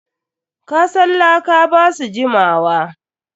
Kasan laka ba su jimawa.